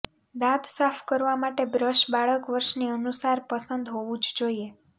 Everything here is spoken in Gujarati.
દાંત સાફ કરવા માટે બ્રશ બાળક વર્ષની અનુસાર પસંદ હોવું જ જોઈએ